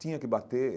Tinha que bater.